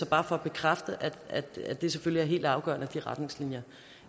bare for at bekræfte at det selvfølgelig er helt afgørende at de retningslinjer